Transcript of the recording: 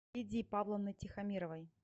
лидии павловны тихомировой